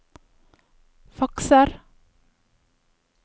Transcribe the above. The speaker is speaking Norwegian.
fakser